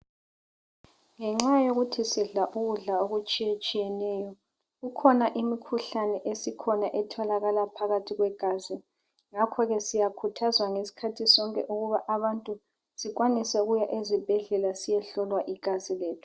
Ngenxa yokuthi sidla ukudla okutshiyetshiyeneyo kukhona imkhuhlane esikhona etholakala phakathi kwegazi ngakhoke siyakhuthazwa ngesikhathi sonke ukuba abantu sikwanise ukuya esibhedlela siyohlolwa igazi lethu.